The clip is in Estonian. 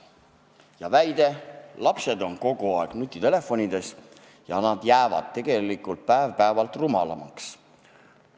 Esitati väide, et lapsed on kogu aeg nutitelefonides ja nad jäävad tegelikult päev-päevalt rumalamaks.